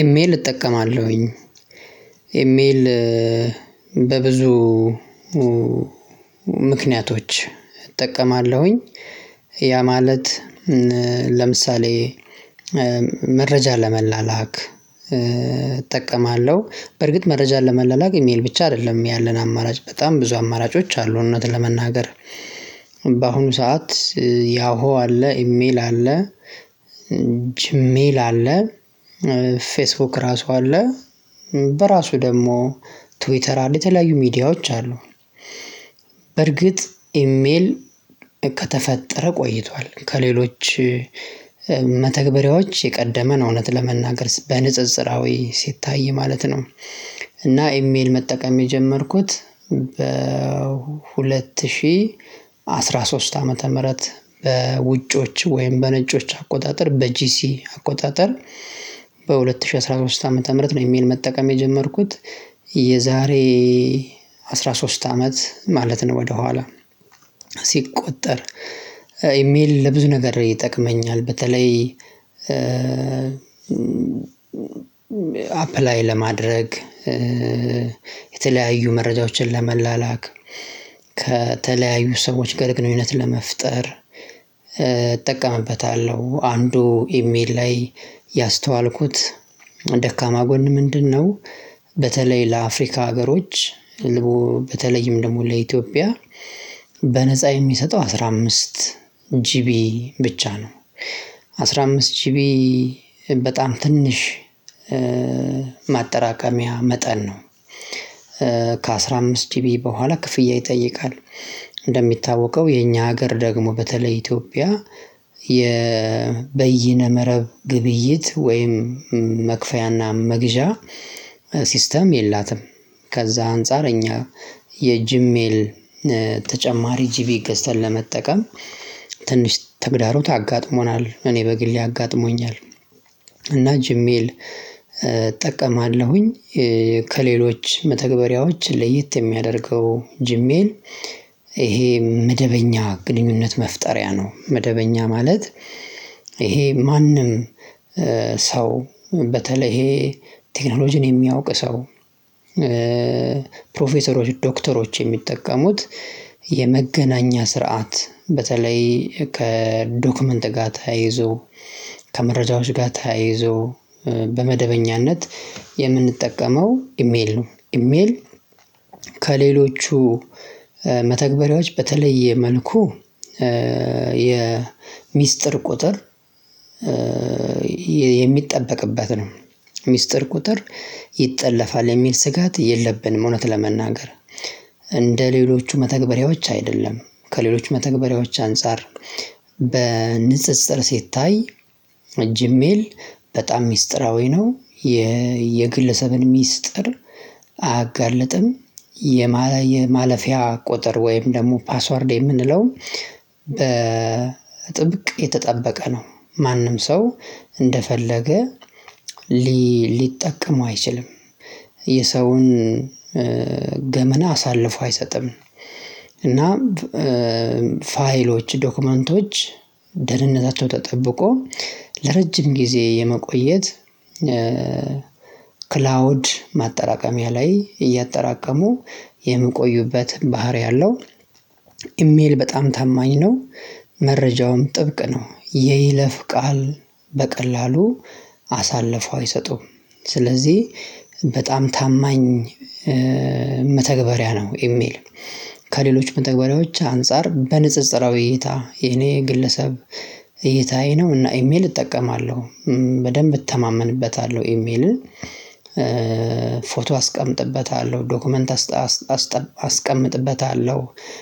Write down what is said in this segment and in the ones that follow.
ኢሜል እጠቀማለሁኝ ኢሜል በብዙ ምክንያቶች እጠቀማለሁኝ። ያ ማለት ለምሳሌ መረጃ ለመላላክ እጠቀማለሁ። በርግጥ መረጃን ለመለላክ ኢሜል ብቻ አይደለም ያለን አማራጭ በጣም ብዙ አማራጮች አሉ። እውነት ለመናገር። ሰዓት ያሁ አለ ኢሜል አለ ጅሜል አለ ፌስቡክ ራሱ አለ በራሱ ደግሞ ትዌተር አለ የተለያዩ ሚዲያዎች አሉ። በርግጥ ኢሜል ከተፈጠረ ቆይቷል ከሌሎች መተግበሪያዎች የቀደመ ነው። እውነት ለመናገር በንጽጽራዊ ሲታይ ማለት ነው። እና ኢሜል መጠቀም የጀመርኩት በሁለት ሺህ አስራ ሶስት ዓመተ ምህረት በውጮች ወይም በነጮች አቆጣጠር በጂሲ አቆጣጠር ዓመተ ምህረት ነው። የሚል መጠቀም የጀመርኩት የዛሬ አስራ ሶስት አመት ማለት ነው። ወደኋላ ሲቆጠር ኢሜል ለብዙ ነገር ይጠቅመኛል። በተለይ አፕላይ ለማድረግ የተለያዩ መረጃዎችን ለመላላክ ከተለያዩ ሰዎች ጋር ግንኙት ለመፍጠር እጠቀምበታለሁ። አንዱ ኢሜል ላይ ያስተዋልኩት ደካማ ጎን ምንድነው? በተለይ ለአፍሪካ ሀገሮች በተለይም ደግሞ ለኢትዮጵያ በነፃ የሚሰጠው አስራ አምስት ጂቢ ብቻ ነው። አስራ አምስት ቺቢ በጣም ትንሽ ማጠራቀሚያ መጠን ነው። ከአሥራ አምስት ቢ በኋላ ክፍያ ይጠይቃል። እንደሚታወቀው የኛ ሀገር ደግሞ በተለይ ኢትዮጵያ የበይነ መረብ ግብይት ወይም መክፈያና መግዣ ሲስተም የላትም። ከዛ አንጻረኛ የጂሜል ተጨማሪ ጂቢ ገዝተን ለመጠቀም ትንሽ ተግዳሮት አጋጥሞናል እኔ በግሌ አጋጥሞኛል። እና ጂሜል እጠቀማለሁኝ። ከሌሎች መተግበሪያዎች ለየት የሚያደርገው ጂሜን ይሄ መደበኛ ግንኙነት መፍጠሪያ ነው። መደበኛ ማለት ይሄ ማንም ሰው በተለይ ይሄ ቴክኖሎጂን የሚያውቅ ሰው ፕሮፌሰሮች ዶክተሮች የሚጠቀሙት የመገናኛ ስርዓት በተለይ ከዶክመንት ጋር ተያይዞ ከመረጃዎች ጋር ታይዞ በመደበኛነት የምንጠቀመው ኢሜል ነው። ኢሜል ከሌሎቹ መተግበሪያዎች በተለየ መልኩ የሚስጥር ቁጥር የሚጠበቅበት ነው። ሚስጥር ቁጥር ይጠለፋል የሚል ስጋት የለብንም። እውነት ለመናገር እንደሌሎቹ መተግበሪያዎች አይደለም። ከሌሎች መተግበሪያዎች አንፃር በንፅፅር ሲታይ ጂ ሜል በጣም ሚስጥራዊ ነው። የግለሰብን ሚስጥር አያጋልጥም። የማለፊያ ቁጥር ወይም ደግሞ ፓስወርድ የምንለውን በጥብቅ የተጠበቀ ነው። ማንም ሰው እንደፈለገ ሊጠቀም አይችልም። የሰውን ገመና አሳልፎ አይሰጥም። እና ፋይሎች ዶክመንቶች ደህንነታቸው ተጠብቆ ለረጅም ጊዜ የመቆየት ክላውድ ማጠራቀሚያ ላይ እያጠራቀሙ የምቆዩበት ባህሪ አለው። ኢሜል በጣም ታማኝ ነው። መረጃውም ጥብቅ ነው። የይለፍ ቃል በቀላሉ አሳልፈው አይሰጡም። ስለዚህ በጣም ታማኝ መተግበሪያ ነው። ኢሜል ከሌሎች መተግበሪያዎች አንፃር በንፅፅራዊ እይታ የኔ ግለሰብ እይታዬ ነው። እና ኢሜል እጠቀማለሁ በደንብ እተማመንበታለሁ። ኢሜልን ፎቶ አስቀምጥበታለሁ ዶክመንት አስቀምጥበታለሁ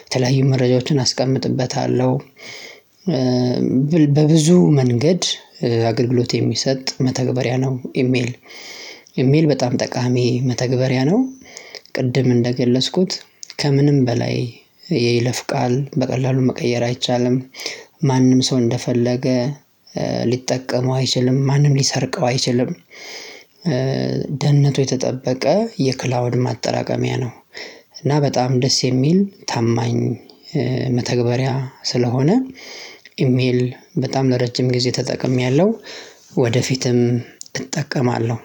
የተለያዩ መረጃዎችን አስቀምጥበታለሁ። በብዙ መንገድ አገልግሎት የሚሰጥ መተግበሪያ ነው። ኢሜል ኢሜል በጣም ጠቃሚ መተግበሪያ ነው። ቅድም እንደገለጽኩት ከምንም በላይ የይለፍ ቃል በቀላሉ መቀየር አይቻልም። ማንም ሰው እንደፈለገ ሊጠቀመው አይችልም ማንም ሊሰርቀው አይችልም። ደህንነቱ የተጠበቀ የክላውድ ማጠራቀሚያ ነው። እና በጣም ደስ የሚል ታማኝ መተግበሪያ ስለሆነ ኢሜል በጣም ለረጅም ጊዜ ተጠቅሜያለሁ። ወደፊትም እጠቀማለሁ።